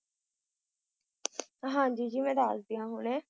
ਹਾਂਜੀ ਜੀ ਮੈ ਦੱਸਦੀ ਆ ਹੁਣੇ।